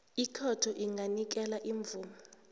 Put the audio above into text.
ikhotho inganikela imvumo